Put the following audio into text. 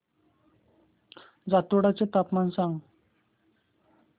जातोडा चे तापमान सांग